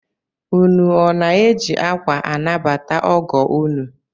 Ụnụ ọ na-eji akwa anabata ọgọ ụnụ?